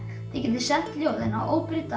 þið getið sent ljóðin á